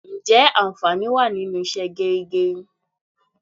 Ǹjẹ́ anfani wá nínú ìṣe geri geri?